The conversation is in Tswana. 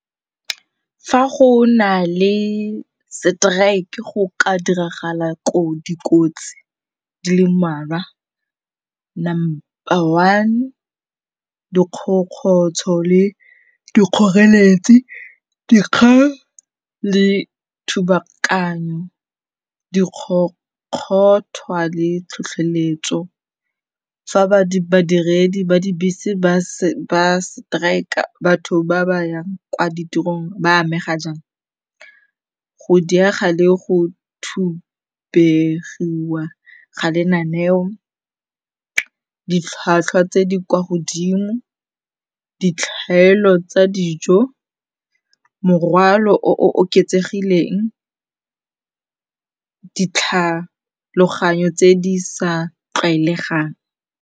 Fa go na le seteraeke go ka diragala dikotsi di le mmalwa. Number one dikgokgotsho le dikgoreletsi, dikgang le thubakanyo, dikgokgothwa le tlhotlheletso. Fa badiredi ba dibese ba seteraeka batho ba ba yang kwa ditirong ba amega jang. Go diega le go thubegiwa ga lenaneo, ditlhwatlhwa tse di kwa godimo, ditlhaelo tsa dijo, morwalo o oketsegileng, ditlhaloganyo tse di sa tlwaelegang.